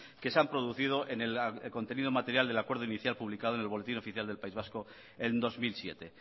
que se han producido en el contenido material del acuerdo inicial publicado en el boletín oficial del país vasco en dos mil siete